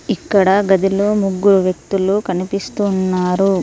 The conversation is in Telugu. ఇక్కడ గదిలో ముగ్గురు వ్యక్తులు కనిపిస్తు ఉన్నారు.